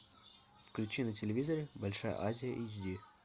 включи на телевизоре большая азия эйч ди